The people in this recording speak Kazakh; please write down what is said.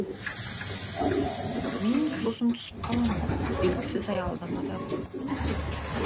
мен сосын түсіп қаламын белгісіз аялдамадан